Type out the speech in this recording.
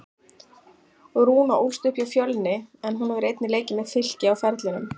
Rúna ólst upp hjá Fjölni en hún hefur einnig leikið með Fylki á ferlinum.